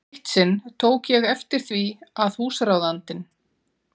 Eitt sinn tók ég eftir því að húsráðandinn